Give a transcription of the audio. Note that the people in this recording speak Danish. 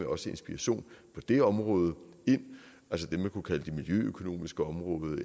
også inspiration på det område altså det man kunne kalde det miljøøkonomiske område